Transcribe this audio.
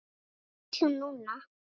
Hvað vill hún núna?